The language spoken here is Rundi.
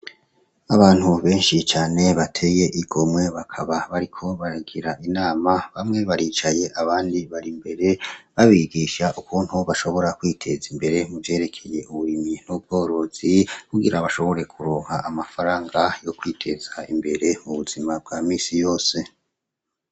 Abantu benshi cane bateye igomwe bakaba bariko baragira inama bamwe baricaye abandi bar'imbere babigisha ukuntu bashobora kwiteza imbere mu vyerekeye uburimyi n'ubworozi, kugira bashobore kuronka amafaranga yo kwiteza imbere mu buzima bwa misi yose.